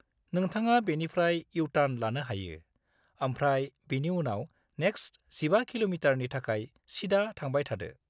नोंथाङा बेनिफ्राय इउ-टार्न लानो हायो, आमफ्राय बिनि उनाव नेक्स्ट 15 किल'मिटारनि थाखाय सिदा थांबाय थादो।